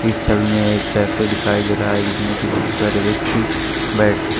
छवि में एक कैफे दिखाई दे रहा है जिसमें की बहुत सारे व्यक्ति बैठ--